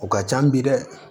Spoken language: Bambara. O ka ca bi dɛ